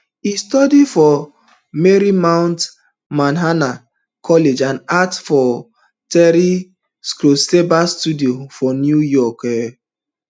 e study for marymount manhattan college and act for terry schreiber studio for new york um